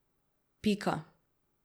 Pika.